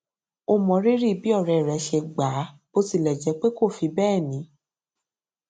ó mọrírì bí òré rẹ ṣe gbà á bó tilẹ jẹ pé kò fi bẹẹ ní